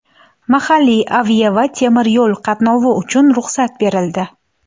Mahalliy avia va temir yo‘l qatnovi uchun ruxsat berildi.